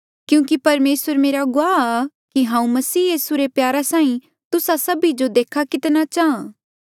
क्यूंकि परमेसर मेरा गुआह आ कि हांऊँ मसीह यीसू रे प्यारा साहीं तुस्सा सभी जो देखणे कितना चाहां